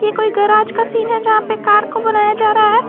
ऐ कोई गराज का सीन है जहां पे कार को बनाया जा रहा है।